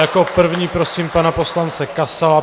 Jako první prosím pana poslance Kasala.